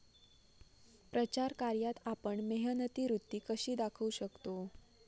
प्रचार कार्यात आपण मेहनती वृत्ती कशी दाखवू शकतो?